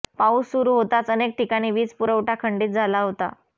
पाऊस सुरू होताच अनेक ठिकाणी वीज पुरवठा खंडित झाला होता